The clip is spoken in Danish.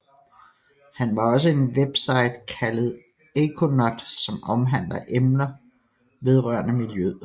Han har også en webside kaldet ecoNOT som omhandler emner vedrørende miljøet